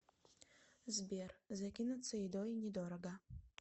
сбер закинуться едой недорого